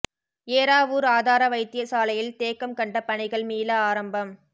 ஏறாவூர் ஆதார வைத்தியசாலையில் தேக்கம் கண்ட பணிகள் மீள ஆரம்பம்